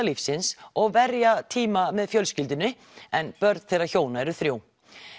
lífsins og verja tíma með fjölskyldunni en börn þeirra hjóna eru þrjú